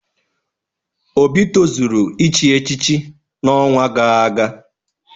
Obi tozuru ichi echichi n'ọnwa gaa aga.